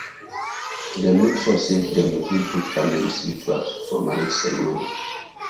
dem make sure say dem include both families rituals for marriage ceremony